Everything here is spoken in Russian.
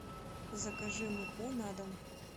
закажи муку на дом